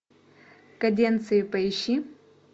каденции поищи